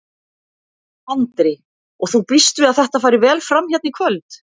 Andri: Og þú býst við að þetta fari vel fram hérna í kvöld?